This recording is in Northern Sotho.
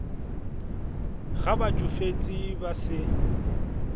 ge ba tšofetše ba se